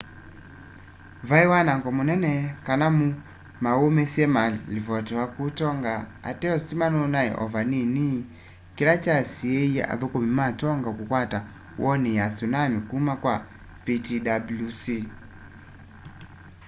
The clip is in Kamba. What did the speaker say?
vai wanango munene kana mauumisye malivotiwa kuu tonga ateo sitima nunaie o vanini kila kyasiie athukumi ma tonga kukwata warning ya tsunami kuma kwa ptwc